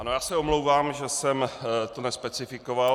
Ano, já se omlouvám, že jsem to nespecifikoval.